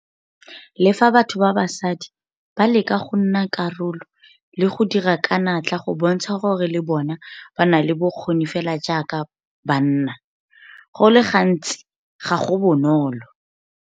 Le fa batho ba basadi ba leka go nna karolo le go dira ka natla go bontsha gore le bona ba na le bokgoni fela jaaka ba nna, go le gantsi ga go bonolo.